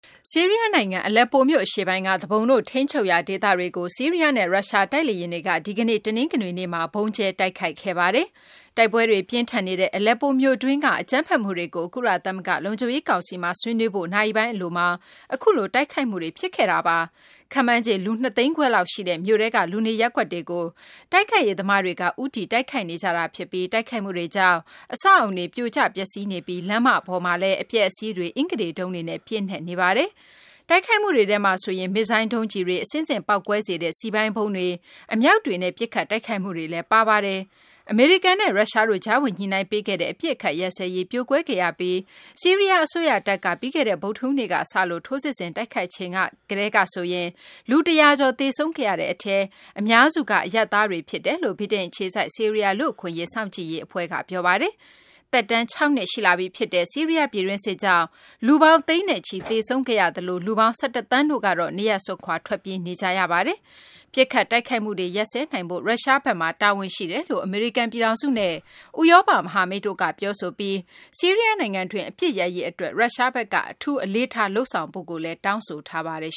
ဆီးရီးယား နိုင်ငံ၊ အလက်ပိုမြို့ အရှေ့ပိုင်းက သူပုန်တွေ ထိန်းချုပ်ရာ ဒေသတွေကို ဆီးရီးယားနဲ့ ရုရှား တိုက်လေယာဉ်တွေက ဒီကနေ့ တနင်္ဂနွေနေ့မှာ ဗုံးကျဲတိုက်ခိုက်ခဲ့ပါတယ်။ တိုက်ပွဲတွေ ပြင်းထန်နေတဲ့ အလက်ပိုမြို့တွင်း အကြမ်းဖက်မှုတွေကို ကုလသမဂ္ဂ လုံခြုံရေး ကောင်စီမှာ ဆွေးနွေးဖို့ နာရီပိုင်း အလိုမှာ အခုလို တိုက်ခိုက်မှုတွေ ဖြစ်ခဲ့တာပါ။ ခန့်မှန်းခြေ လူ ၂ သိန်းခွဲလောက် ရှိတဲ့ မြို့ထဲက လူနေရပ်ကွက်တွေကို တိုက်ခိုက်ရေး သမားတွေက ဦးတည် တိုက်ခိုက်နေတာ ဖြစ်ပြီး တိုက်ခိုက်မှုတွေကြောင့် အဆောက်အအုံတွေ ပြိုကျ ပျက်စီးနေပြီး လမ်းမတွေပေါ်မှာလည်း အပျက်အစီးတွေ အင်္ဂတေတုံးတွေနဲ့ ပြည့်နှက်နေပါတယ်။ တိုက်ခိုက်မှုတွေထဲမှာဆိုရင် မစ်ဇိုင်းလ် ဒုံးကျည်တွေ၊ အဆင့်ဆင့် ပေါက်ကွဲစေတဲ့ စည်ပိုင်းဗုံးတွေ၊ အမြောက်တွေနဲ့ ပစ်ခတ် တိုက်ခိုက်မှုတွေလည်း ပါဝင်ပါတယ်။ အမေရိကန်နဲ့ ရုရှားတို့ ကြားဝင် ညှိနှိုင်းပေးခဲ့တဲ့ အပစ်အခတ် ရပ်စဲရေး ပြိုကွဲခဲ့ရပြီး ဆီးရီးယား အစိုးရတပ်က ပြီးခဲ့တဲ့ ဗုဒ္ဓဟူးနေ့က စလို့ ထိုးစစ်ဆင် တိုက်ခိုက်ချိန်ကစလို့ လူ ၁၀၀ ကျော် သေဆုံးခဲ့ရတဲ့ အထဲမှာ အများစုက အရပ်သားတွေ ဖြစ်တယ်လို့ ဗြိတိန် အခြေစိုက် ဆီးရီးယား လူ့အခွင့်အရေး စောင့်ကြည့်ရေး အဖွဲ့က ပြောပါတယ်။ သက်တမ်း ၆ နှစ် ရှိလာပြီ ဖြစ်တဲ့ ဆီးရီးယား ပြည်တွင်းစစ်ကြောင့် လူပေါင်း သိန်းနဲ့ချီ သေဆုံးခဲ့ရပြီး လူပေါင်း ၁၁ သန်းတို့ကတော့ နေရပ်စွန့်ခွာ ထွက်ပြေးနေကြရပါတယ်။ ပစ်ခတ်တိုက်ခိုက်မှုတွေ ရပ်စဲနိုင်ဖို့ ရုရှားဘက်မှာ တာဝန်ရှိတယ်လို့ အမေရိကန် ပြည်ထောင်စုနဲ့ ဥရောပ မဟာမိတ်တို့က ပြောဆိုပြီး ဆီးရီးယား နိုင်ငံတွင်း အပစ်ရပ်ရေး အတွက် ရုရှားဘက်က အထူးအလေးထား လုပ်ဆောင်ဖို့လည်း တောင်းဆိုထားပါတယ်